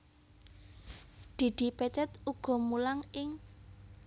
Didi Petet uga mulang ing